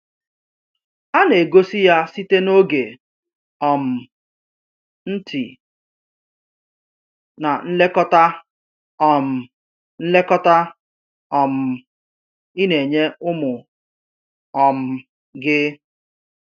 A na-egosi ya site n’oge, um ntị, na nlekọta um nlekọta um ị na-enye ụmụ um gị.